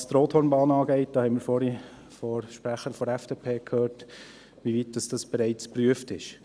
Was die Brienz-Rothorn-Bahn angeht, haben wir vorhin von der Sprecherin der FDP gehört, wie weit dies bereits geprüft ist.